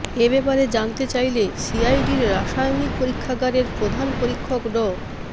এ ব্যাপারে জানতে চাইলে সিআইডির রাসায়নিক পরীক্ষাগারের প্রধান পরীক্ষক ড